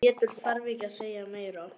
En Pétur þarf ekki að segja meira.